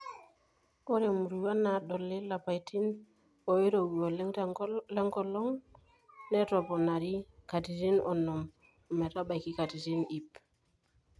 Ore muruan naadoli lapaitin oirowua oleng lenkolong netoponari katitn onom ometabaiki katitin iip.